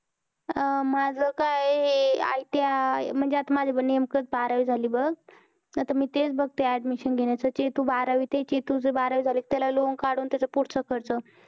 माझ काय हे ITI माझं पण नेमकेच बारावी झालं बघ आता मी तेच बघती आहे admission घेण्याचं चेतू बारावीत आहे त्याची बारावी झाली कि त्याला loan कडून तेच पुढं च खर्च